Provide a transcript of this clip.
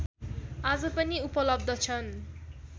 आज पनि उपलब्ध छन्